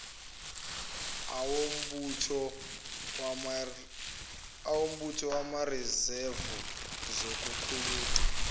awombutho wamarizevu zokukhululwa